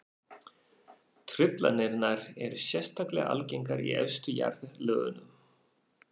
Truflanirnar eru sérstaklega algengar í efstu jarðlögunum.